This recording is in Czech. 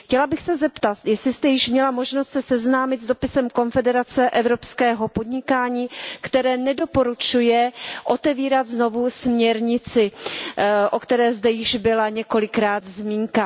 Chtěla bych se zeptat, jestli jste již měla možnost se seznámit s dopisem Konfederace evropského podnikání, která nedoporučuje otevírat znovu směrnici, o které zde již několikrát byla zmínka.